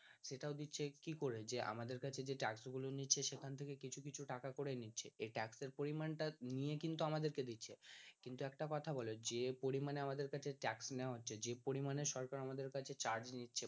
সেটাও দিচ্ছে কি করে যে আমাদের কাছে যে ট্যাক্স গুলো নিচ্ছে সেখান থেকে কিছু কিছু টাকা করে নিচ্ছে এই ট্যাক্স এর পরিমান টা নিয়ে কিন্তু আমাদের কে দিচ্ছে কিন্তু একটা কথা বলো যে পরিমানে আমাদের কাছে ট্যাক্স নেওয়া হচ্ছে যে পরিমানে সরকার আমাদের কাছ থেকে charge নিচ্ছে